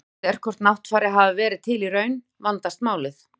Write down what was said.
Þegar spurt er hvort Náttfari hafi verið til í raun, vandast málið.